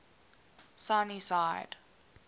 sunnyside